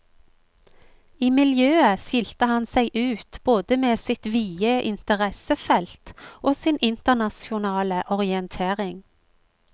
I miljøet skilte han seg ut både med sitt vide interessefelt og sin internasjonale orientering.